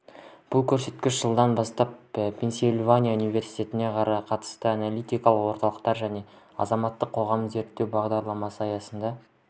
бұл көрсеткіш жылдан бастап пенсильвания универститетіне қарасты аналитикалық орталықтар және азаматтық қоғам зерттеу бағдарламасы аясында